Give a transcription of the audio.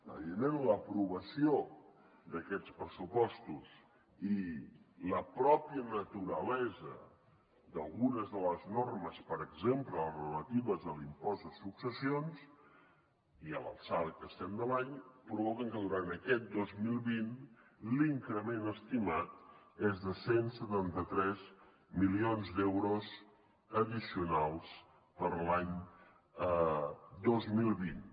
evidentment l’aprovació d’aquests pressupostos i la mateixa naturalesa d’algunes de les normes per exemple les relatives a l’impost de successions i a l’alçada que estem de l’any provoquen que durant aquest dos mil vint l’increment estimat és de cent i setanta tres milions d’euros addicionals per a l’any dos mil vint